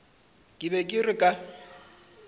ke be ke re ka